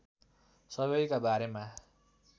सबैका बारेमा